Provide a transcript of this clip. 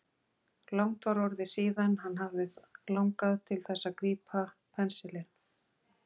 Langt var orðið síðan hann hafði langað til þess að grípa pensilinn.